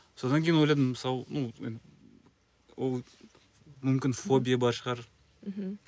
содан кейін ойладым мысалы мүмкін фобия бар шығар мхм